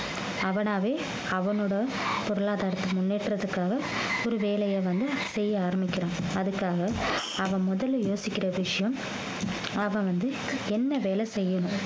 அவனாவே அவனோட பொருளாதாரத்தை முன்னேற்றதுக்காக ஒரு வேலையை வந்து செய்ய ஆரம்பிக்கிறான் அதுக்காக அவன் முதல்ல யோசிக்கிற விஷயம் அவன் வந்து என்ன வேலை செய்யணும்